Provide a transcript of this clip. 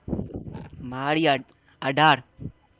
મારી અઢાર